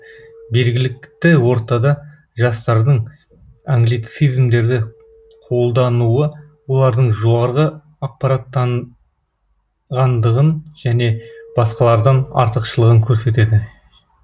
белгілікті ортада жастардың англицизмдерді қолдануы олардың жоғары ақпараттанғандығын және басқалардан артықшылығын көрсетеді